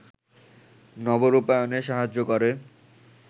নবরূপায়ণে সাহায্য করে